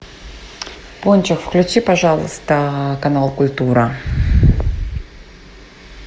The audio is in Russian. пончик включи пожалуйста канал культура